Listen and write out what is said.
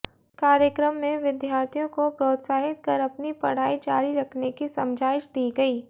कार्यक्रम में विद्यार्थियों को प्रोत्साहित कर अपनी पढ़ाई जारी रखने की समझाइश दी गयी